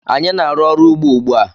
Anyị na-aru ọrụ ugbó ugbu a.